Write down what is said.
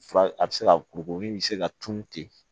Fura a bɛ se ka kurukuru min bɛ se ka tunun ten